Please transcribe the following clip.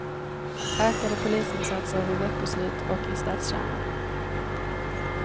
Ökade polisinsatser vid veckoslut och i stadskärnor.